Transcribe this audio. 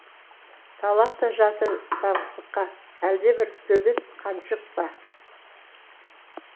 талап та жатыр таңсыққа әлдебір төбет қаншық па